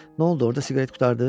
N'oldu, orda siqaret qurtardı?